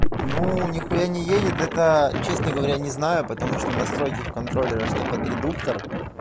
ну нихуя не едет это честно говоря не знаю потому что настройки в контроллере что под редуктор